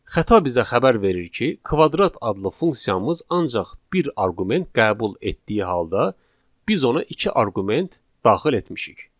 Xəta bizə xəbər verir ki, kvadrat adlı funksiyamız ancaq bir arqument qəbul etdiyi halda, biz ona iki arqument daxil etmişik.